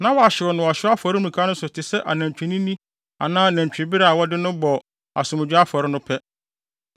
na wahyew no wɔ ɔhyew afɔremuka no so te sɛ nantwinini anaa nantwibere a wɔde no bɔ asomdwoe afɔre no pɛ.